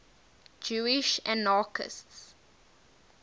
jewish anarchists